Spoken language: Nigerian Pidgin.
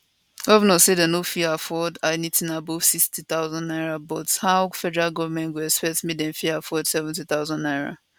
govnors say dem no fit afford anytin above 60000 naira but how federal goment go expect make dem fit afford 70000 naira